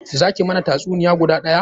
Za ki mana tatsuniya guda daya?